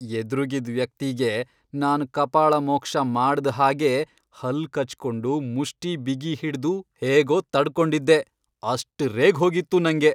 ಎದ್ರುಗಿದ್ ವ್ಯಕ್ತಿಗೆ ನಾನ್ ಕಪಾಳಮೋಕ್ಷ ಮಾಡ್ದ್ ಹಾಗೆ ಹಲ್ಲ್ ಕಚ್ಕೊಂಡು ಮುಷ್ಠಿ ಬಿಗಿಹಿಡ್ದು ಹೇಗೋ ತಡ್ಕೊಂಡಿದ್ದೆ, ಅಷ್ಟ್ ರೇಗ್ಹೋಗಿತ್ತು ನಂಗೆ.